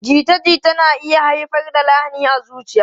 Jita-jita na iya haifar da lahani a zuciya.